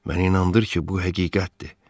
Məni inandır ki, bu həqiqətdir.